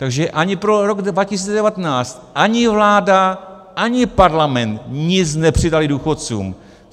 Takže ani pro rok 2019 ani vláda, ani parlament nic nepřidaly důchodcům.